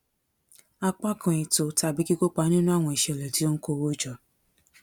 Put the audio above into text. apá kan ètò tàbí kíkópa nínú àwọn ìṣẹlẹ tí ó ń kó owó jọ